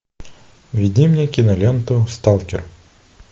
введи мне киноленту сталкер